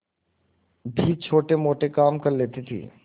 भी छोटेमोटे काम कर लेती थी